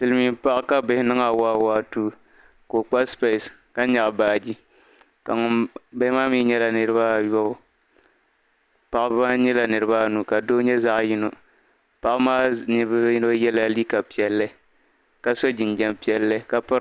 Silimin paɣa ka bihi niŋ awaawaatuu o kpa sipesi ka nyaɣi baaji, bihi maa nyɛla niriba ayɔbu, paɣaba maa nyɛla niriba anu ka doo nyɛ ninvuɣ' yino, ka paɣaba puuni yino ye liiga piɛlli ka so jinjam piɛlli.